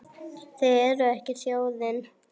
Þið eruð ekki þjóðin!